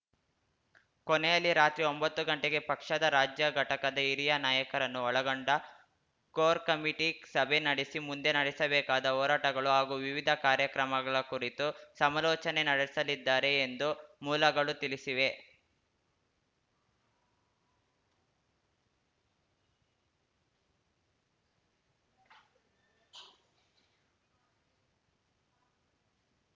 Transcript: ಕೊನೆಯಲ್ಲಿ ರಾತ್ರಿ ಒಂಬತ್ತು ಗಂಟೆಗೆ ಪಕ್ಷದ ರಾಜ್ಯ ಘಟಕದ ಹಿರಿಯ ನಾಯಕರನ್ನು ಒಳಗೊಂಡ ಕೋರ್‌ ಕಮಿಟಿ ಸಭೆ ನಡೆಸಿ ಮುಂದೆ ನಡೆಸಬೇಕಾದ ಹೋರಾಟಗಳು ಹಾಗೂ ವಿವಿಧ ಕಾರ್ಯಕ್ರಮಗಳ ಕುರಿತು ಸಮಲೋಚನೆ ನಡೆಸಲಿದ್ದಾರೆ ಎಂದು ಮೂಲಗಳು ತಿಳಿಸಿವೆ